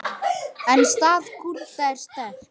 En staða Kúrda er sterk.